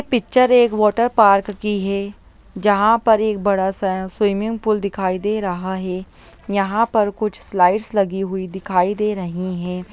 ये पिक्चर एक water park की है जहाँ पर एक बड़ा सा स्विमिंग पूल दिखाई दे रहा है यहाँ पर कुछ स्लाइड्स लगी हुई दिखाई दे रहीं हैं।